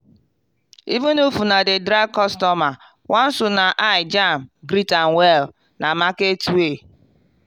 even if una dey drag customer once una eye jam greet am well. na market way.